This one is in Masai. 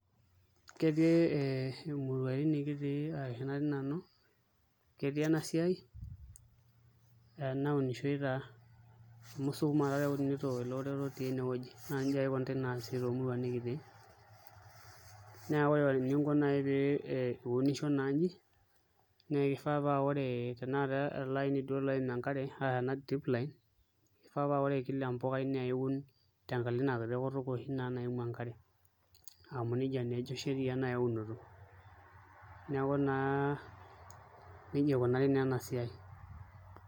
Ketii emurua nikitii ashu natii Nanu, ketii ena siai naunishoi taa amu sukuma taatoi eunitoi ele orere otii ene naa nijia ake ikunitai toomuruan nikitii naa ore eninko naa pee iunisho naa nji naa kifaa paa are ele aini ooim enkare arashu ena drip line kifaa paa ore kila empukai naa kiun tenkalo Ina kiti kutuk oshi naimu enkare amu nijia naa ejo sheria naai eunito neeku naa nijia ikunari naa ena siai.